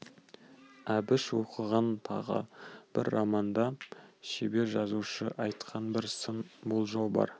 әбіш оқыған тағы бір романда шебер жазушы айтқан бір сын болжау бар